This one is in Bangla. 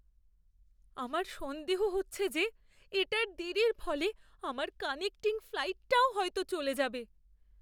আমার সন্দেহ হচ্ছে যে, এটার দেরির ফলে আমার কানেক্টিং ফ্লাইটটাও হয়তো চলে যাবে।